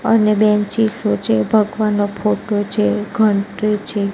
અને બેન્ચીસો છે ભગવાનનો ફોટો છે ઘનટ્રી છે.